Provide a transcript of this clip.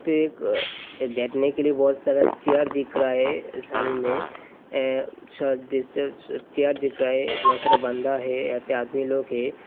एक बैठने के के लिए बहुत सारा चेयर दिख रहा है मे ए चेयर दिख रहा है बहुत सारा बंदा है यहाँ पे आदमी लोग है।